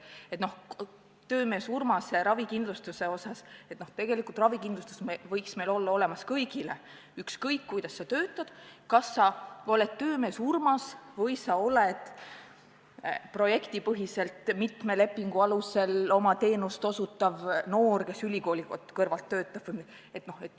Mis puutub töömees Urmase ravikindlustusse, siis tegelikult ravikindlustus võiks meil olla kõigil, ükskõik, kuidas sa töötad, kas sa oled töömees Urmas või sa oled projektipõhiselt mitme lepingu alusel oma teenust osutav noor, kes ülikooli kõrvalt töötab.